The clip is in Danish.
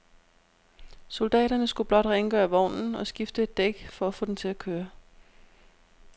Soldaterne skulle blot rengøre vognen og skifte et dæk for at få den til at køre.